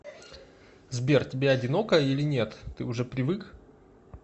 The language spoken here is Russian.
сбер тебе одиноко или нет ты уже привык